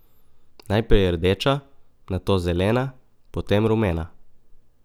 Najprej rdeča, nato zelena, potem rumena.